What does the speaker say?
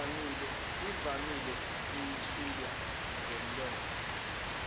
evamile eyethulwa ngomlomo